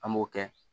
An b'o kɛ